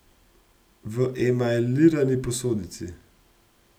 V emajlirani posodici.